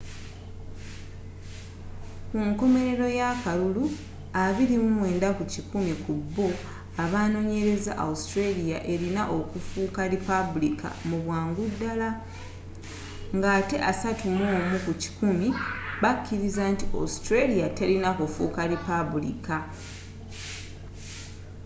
kunkomelero y'akalulu 29 ku kikumi kubbo abanonyereza australia elina okufuuka lipabulika mubwangu dala nga ate 31 ku kikumi bakiriza nti autralia telina kufuuka lipaabuliika